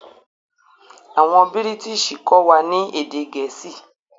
Awọn Bírìtísì kọ wà ni èdè Gẹẹsi